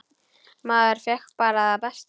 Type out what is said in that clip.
Maður fékk bara það besta.